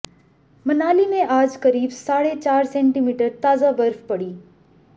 मनाली में आज करीब साढ़े चार सेंटीमीटर ताजा बर्फ पड़ी